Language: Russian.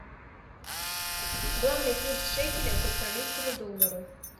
главный курс шекеля к австралийскому доллару